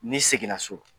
N'i seginna so